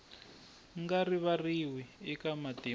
nga rivariwi eka matimu ya